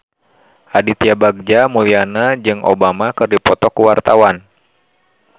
Aditya Bagja Mulyana jeung Obama keur dipoto ku wartawan